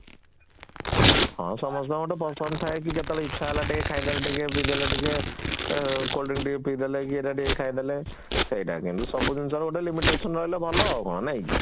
ହଁ ସମସ୍ତଙ୍କ ଗୋଟେ ପସନ୍ଦ ଥାଏ କି କେତେବେଳେ ଇଛା ହେଲା ଟିକେ ଖାଇଦେଲ ଟିକେ ପି ଦେଲ ଟିକେ 3ଆଁ cold drink ଟିକେ ପି ଦେଲ କି ଏଇଟା ଟିକେ ଖାଇଦେଳେ ସେଇଟା କିନ୍ତୁ ସବୁ ଜିନିଷର ଗୋଟେ limitation ରହିଲେ ଭଲ ଆଉ କଣ